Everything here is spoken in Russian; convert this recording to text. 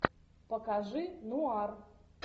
покажи нуар